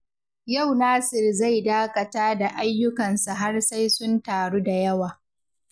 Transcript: Yau Nasir zai dakata da ayyukansa har sai sun taru da yawa.